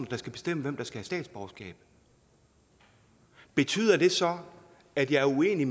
der skal bestemme hvem der skal have statsborgerskab betyder det så at jeg er uenig